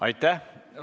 Aitäh!